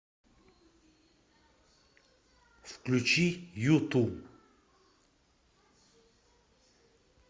включи юту